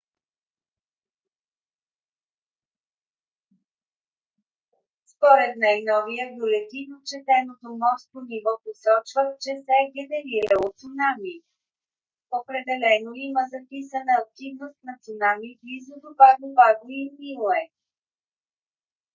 според най-новия бюлетин отчетеното морско ниво посочва че се е генерирало цунами. определено има записана активност на цунами близо до паго паго и ниуе